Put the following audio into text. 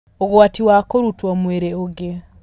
Ũgwati wa kũrutwo mwĩrĩ ũngĩ